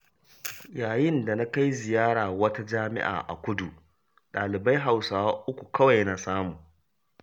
Yayin da na kai ziyara wata jami'a a kudu, ɗalibai Hausawa uku kawai na samu.